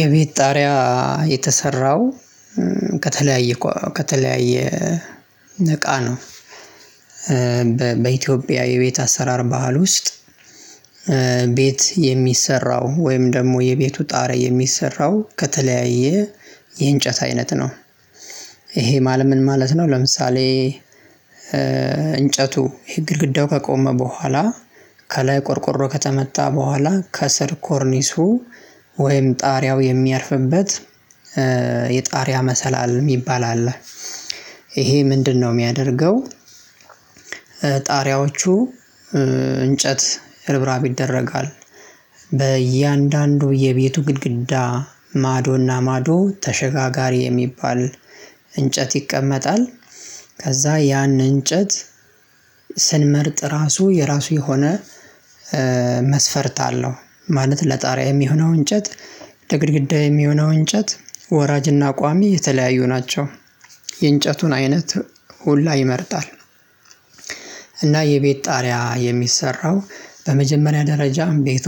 የቤት ጣሪያ የተሰራው ከተለያየ ከተለያየ እቃ ነው። በኢትዮጵያ የቤት አሰራር ባህል ውስጥ። ቤት የሚሰራው ወይም ደግሞ የቤቱ ጣራ የሚሰራው ከተለያየ የእንጨት አይነት ነው። ይሄ ማለት ምን ማለት ነው? ለምሳሌ እንጨቱ ይሄ ግድግዳው ከቆመ በኋላ ከላይ ቆርቆሮ ከተመታ በኋላ ከስር ኮርኒሱ ወይም ጣሪያው የሚያርፍበት የጣሪያ መሰላል የሚባል አለ። ይሄ ምንድነው የሚያደርገው? ጣሪያዎቹ እንጨት ርብራብ ይደረጋል። በእያንዳንዱ የቤቱ ግድግዳ ማዶ እና ማዶ ተሸጋጋሪ የሚባል እንጨት ይቀመጣል። ከዛ ያንን እንጨት ስንመርጥ ራሱ የራሱ የሆነ መስፈርት አለው። ማለት ለጣሪያ የሚሆነው እንጨት ለግድግዳ የሆነው እንጨት ወራጅና ቋሚ የተለያዩ ናቸው። የእንጨቱን አይነት ሁላ ይመርጣል። እና የቤት ጣሪያ የሚሰራው በመጀመሪያ ደረጃም ቤቱ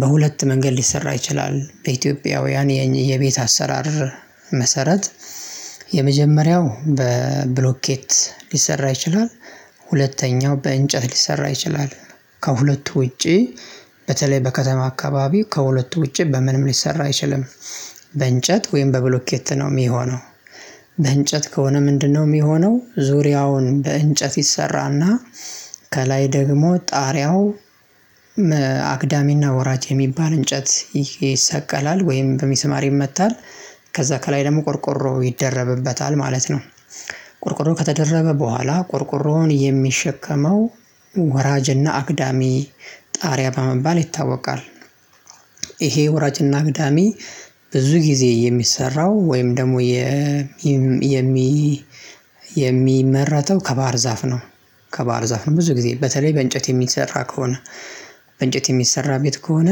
በሁለት መንገድ ሊሰራ ይችላል። በኢትዮጵያውያን የቤት አሰራር መሰረት የመጀመሪያው በብሎኬት ሊሰራ ይችላል። ሁለተኛው በእንጨት ሊሰራ ይችላል። ከሁለቱ ውጪ በተለይ በከተማ አካባቢ ከሁለቱ ውጪ በምንም ሊሰራ አይችልም። በእንጨት ወይም በብሎኬት ነው የሚሆነው። በእንጨት ከሆነ ምንድነው? የሚሆነው ዙሪያውን በእንጨት ይሰራና ከላይ ደግሞ ጣሪያው አግዳሚና ወራጅ የሚባል እንጨት ይሰቀላል ወይም በሚስማር ይመታል ከዛ ከላይ ደግሞ ቆርቆሮ ይደረብበታል ማለት ነው። ቆርቆሮ ከተደረበ በኋላ ቆርቆሮውን የሚሸከመው ወራጅና አግዳሚ ጣሪያ በመባል ይታወቃል። ይሄ ወራጅና አግዳሜ ብዙ ጊዜ የሚሰራው ወይም ደግሞ የሚመረተው ከባህር ዛፍ ነው። ከባህር ዛፍ ነው ብዙ ጊዜ በተለይ በእንጨት የሚሰራ ከሆነ እንጨት የሚሰራ ቤት ከሆነ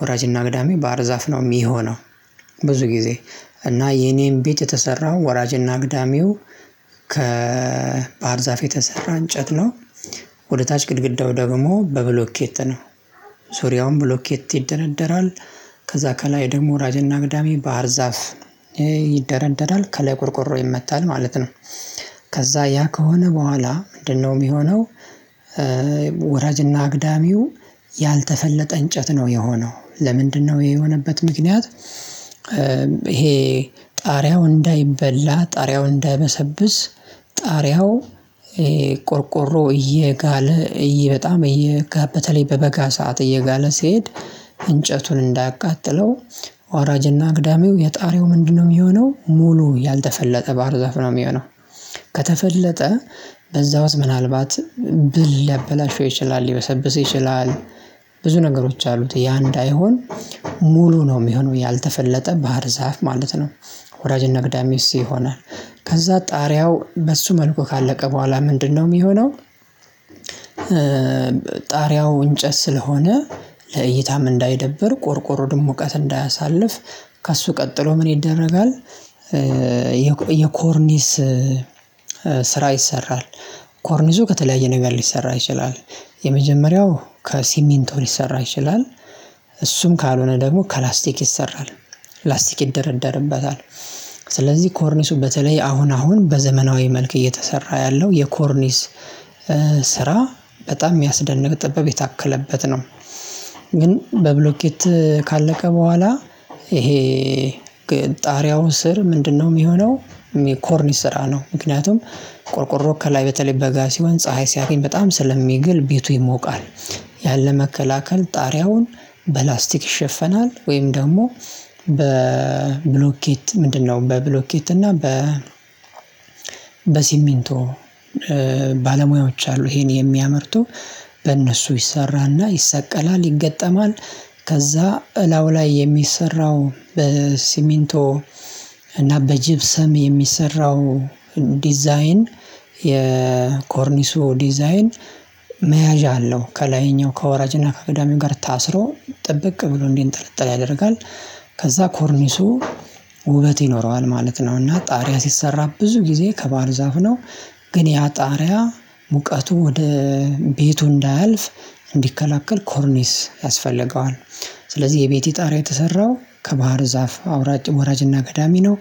ወራጅና አግዳሜ ባህር ዛፍ ነው የሚሆነው። ብዙ ጊዜ እና የኔም ቤት የተሰራው ወራጅ እና አግዳሚው ከባህር ዛፍ የተሰራ እንጨት ነው። ወደ ታች ግድግዳው ደግሞ በብሎኬት ነው። ዙሪያውን ብሎኬት ይደረደራል። ከዛ ከላይ ደግሞ ወራጅ እና አግዳሚ ባህር ዛፍ ይደረደራል ከላይ ቆርቆሮ ይመታል ማለት ነው። ከዛ ያ ከሆነ በኋላ ምንድነው የሚሆነው? ወራጅ እና አግዳሚው ያልተፈለጠ እንጨት ነው የሆነው ለምንድነው ይሄ የሆነበት ምክንያት ይሄ ጣሪያው እንዳይበላ ጣሪያው እንዳይበሰብስ። ጣሪያው ቆርቆሮ እየጋለ እየ በጣም እየጋ በተላይ በበጋ ሰዓት እየጋለ ሲሄድ እንጨቱን እንዳያቃጥለው። ወራጅ እና አግዳሚው የጣሪያው ምንድነው? የሚሆነው ሙሉ ያልተፈለጠ ባህር ዘፍ ነው የሚሆነው። ከተፈለጠ በዛ ውስጥ ምናልባት ብል ሊያበላሸው ይችላል ሊበሰብስ ይችላል። ብዙ ነገሮች አሉት ያ እንዳይሆን ሙሉ ነው የሚሆነው ያልተፈለጠ ባህር ዛፍ ማለት ነው። ወራጅ እና አግዳሚ እሱ ይሆናል ከዛ ጣሪያው በሱ መልኩ ካለቀ በኋላ ምንድነው የሚሆነው? ጣሪያው እንጨት ስለሆነ። ለእይታም እንዳይደብር ቆርቆሮ ደግሞ ሙቀት እንዳያሳልፍ። ከእሱ ቀጥሎ ምን ይደረጋል? የኮርኒስ ስራ ይሰራል። ኮርኒሱ ከተለያየ ነገር ሊሰራ ይችላል። የመጀመሪያው ከሲሚንቶ ሊሰራ ይችላል። እሱም ካልሆነ ደግሞ ከላስቲክ ይሰራል። ላስቲክ ይደረደርበታል። ስለዚህ ኮርኒሱ በተለይ አሁን አሁን በዘመናዊ መልክ እየተሰራ ያለው የኮርኒስ ስራ በጣም የሚያስደንቅ ጥበብ የታከለበት ነው። ግን በብሎኬት ካለቀ በኋላ ይሄ ጣሪያውን ስር ምንድነው የሚሆነው? ኮርኒስ ስራ ነው ምክንያቱም ቆርቆሮ ከላይ በተለይ በጋ ሲሆን ፀሀይ ሲያገኝ በጣም ስለሚግል ቤቱ ይሞቃል። ያን ለመከላከል ጣሪያውን በላስቲክ ይሸፈናል ወይም ደግሞ በብሎኬት ምንድነው በብሎኬት እና በ በሲሚንቶ ባለሙያዎች አሉ ይሄን የሚያመርቱ በእነሱ ይሰራና ይሰቀላል ይገጠማል። ከዛ እላዩ ላይ የሚሰራው በሲሚንቶ እና በጅብሰም የሚሰራው ዲዛይን የኮርኒሱ ዲዛይን መያዣ አለው ከላይኛው ከወራጅ እና ከአግዳሚው ጋር ታስሮ ጥብቅ ብሎ እንዲንጠለጥል ያደርጋል። ከዛ ኮርኒሱ ውበት ይኖረዋል ማለት ነው። እና ጣሪያ ሲሰራ ብዙ ጊዜ ከባህር ዛፍ ነው። ግን ያ ጣሪያ ሙቀቱ ወደ ቤቱ እንዳያልፍ እንዲከላከል ኮርኒስ ያስፈልገዋል። ስለዚህ የቤቴ ጣሪያ የተሰራው ከባህር ዛፍ አውራጅ ወራጅ እና አግዳሚ ነው።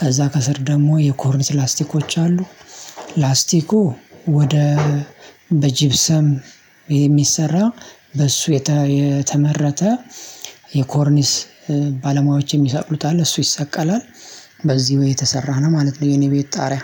ከዛ ከስር ደግሞ የኮርንስ ላስቲኮች አሉ። ላስቲኩ ወደ በጅብሰም የሚሰራ በእሱ የተመረተ የኮርኒስ ባለሙያዎች የሚሳቅሉት አለ እሱ ይሰቀላል። በዚህ ወይ የተሰራ ነው ማለት ነው። የኔ ቤት ጣሪያ